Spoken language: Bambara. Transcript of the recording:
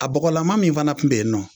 A bɔgɔlama min fana tun bɛ yen nɔ